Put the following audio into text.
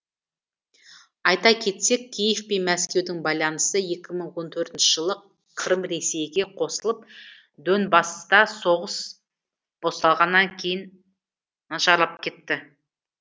айта кетсек киев пен мәскеудің байланысы екі мың он төртінші жылы қырым ресейге қосылып донбасста соғыс басталғаннан кейін нашарлап кетті